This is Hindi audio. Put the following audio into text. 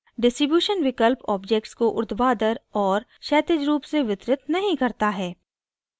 distribution विकल्प objects को ऊर्ध्वाधर और क्षैतिज रूप से वितरित नहीं करता है